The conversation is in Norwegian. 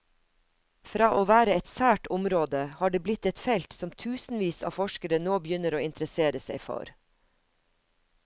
Fra å være et sært område, har det blitt et felt som tusenvis av forskere nå begynner å interessere seg for.